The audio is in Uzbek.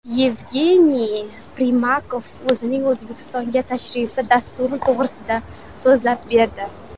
Yevgeniy Primakov o‘zining O‘zbekistonga tashrifi dasturi to‘g‘risida so‘zlab berdi.